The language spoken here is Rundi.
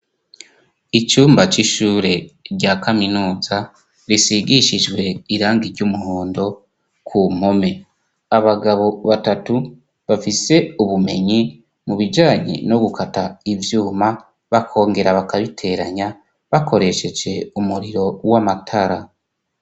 Icumba c'ishure rya Kaminuza risigishijwe irangi ry'umuhondo ku mpome. Abagabo batatu bafise ubumenyi mu bijanye no gukata ivyuma bakongera bakabiteranya bakoresheje umuriro w'amatara.